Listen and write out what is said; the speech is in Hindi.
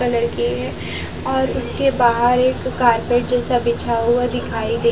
कलर की है और उसके बाहर एक कारपेट जैसा बिछा हुआ दिखाई दे --